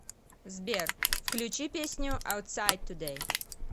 сбер включи песню аутсайд тудэй